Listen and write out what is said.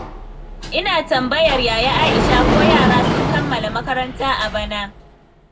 Ina tambayar Yaya Aisha ko yara sun kammala makaranta a bana.